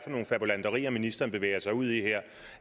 nogle fabulanterier ministeren bevæger sig ud i her